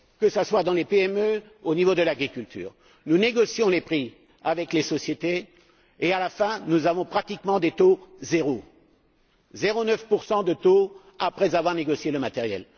Que ce soit dans les PME ou au niveau de l'agriculture, nous négocions les prix avec les sociétés et, à la fin, nous avons pratiquement des taux zéro des taux de 0,9 après avoir négocié le matériel.